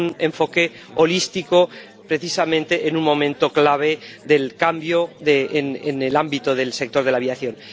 enfoque holístico, precisamente en un momento clave del cambio en el ámbito del sector de la aviación.